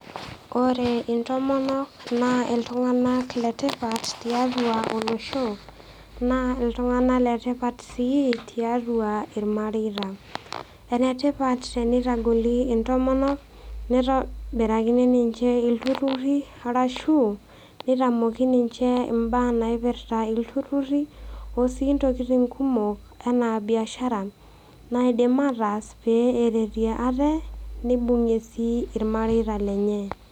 Ore intomonok naa iltung'ana le tipat tiatua olosho, naa iltung'ana le tipat sii tiatua ilmareita. Ene tipat teneitagoli intomonok neitobirakini ninche oltururi arashu neitamoki ninche imbaa naipirita oltururi, o sii intokitin kumok anaa biashara, naidim ataas pee eretie aate neibung'ie sii ilmareita lenye.